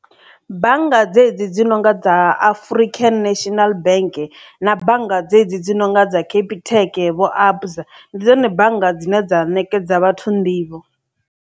Bannga dzedzi dzi nonga dza Afurika National Bank na bannga dzedzi dzi nonga dza Capitec vho Absa ndi dzone bannga dzine dza ṋekedza vhathu nḓivho.